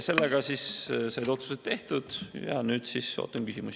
Sellega said otsused tehtud ja nüüd ootan küsimusi.